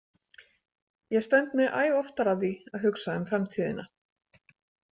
Ég stend mig æ oftar að því að hugsa um framtíðina.